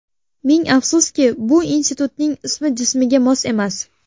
Ming afsuski, bu institutning ismi jismiga mos emas.